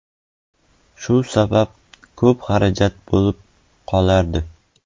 Shu sabab ko‘p xarajat bo‘lib qolardi.